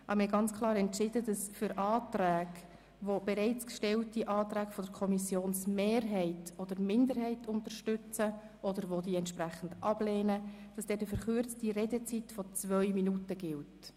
Allerdings haben wir klar entschieden, dass für Anträge, welche die Kommissionsmehrheit oder die Kommissionsminderheit unterstützen oder ablehnen, eine verkürzte Redezeit von zwei Minuten gilt.